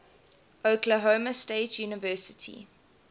oklahoma state university